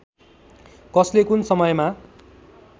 कसले कुन समयमा